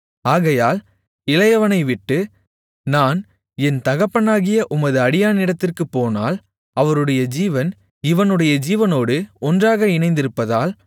ஆகையால் இளையவனைவிட்டு நான் என் தகப்பனாகிய உமது அடியானிடத்திற்குப் போனால் அவருடைய ஜீவன் இவனுடைய ஜீவனோடு ஒன்றாக இணைந்திருப்பதால்